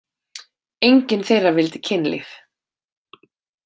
Engin þeirra vildi kynlíf.